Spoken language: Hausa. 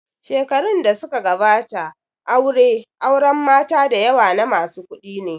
Shekarun da suka gabata aure auren mata dayawa na masu kuɗi ne